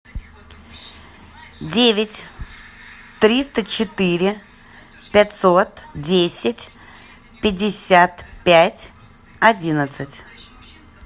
девять триста четыре пятьсот десять пятьдесят пять одиннадцать